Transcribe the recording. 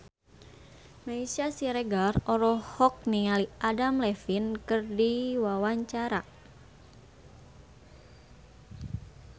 Meisya Siregar olohok ningali Adam Levine keur diwawancara